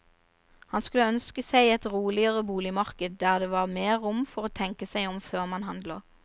Han skulle ønske seg et roligere boligmarked, der det var mer rom for å tenke seg om før man handler.